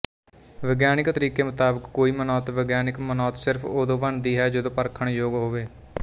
ਵਿਗਿਆਨਕ ਤਰੀਕੇ ਮੁਤਾਬਕ ਕੋਈ ਮਨੌਤ ਵਿਗਿਆਨਕ ਮਨੌਤ ਸਿਰਫ਼ ਉਦੋਂ ਬਣਦੀ ਹੈ ਜਦੋਂ ਉਹ ਪਰਖਣਯੋਗ ਹੋਵੇ